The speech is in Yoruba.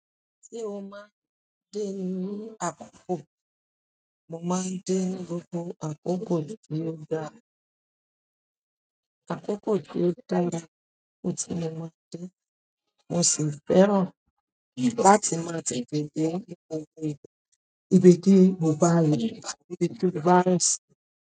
Se o máa ń de ní àkókò, mo máa ń de gbogbo àkókò tí ó dára. Àkókò tí ó dára ni mo ti lè máa dín, mo sì fẹ́ràn láti máa ti gbàgbé ibẹ̀ gẹ́gẹ́ ibi tí mo bá lọ sí ibi tí mo bá rin sí.